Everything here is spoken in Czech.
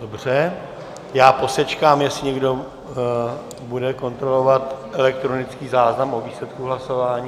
Dobře, já posečkám, jestli někdo bude kontrolovat elektronický záznam o výsledku hlasování.